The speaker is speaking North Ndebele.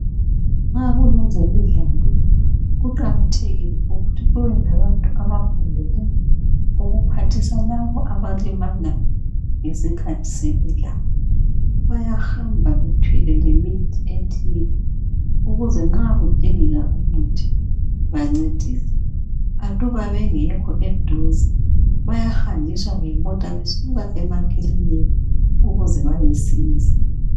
nxa kulezemidlalo kuqakathekile ukuthi kube labantu abafundele ukuphathisa labo abalimala ngesikhathi semidlalo bayahamaba bethwele lemithi ethile ukuzen nxa kudingeka umuthi bancedise aluba bengekho eduze bayahanjiswa ngemota besuka emakilinka ukuze bayesiza